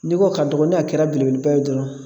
N'i ko a ka dɔgɔn , n'a kɛra belebeleba ye dɔrɔn